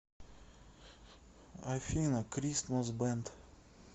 афина кристмас бэнд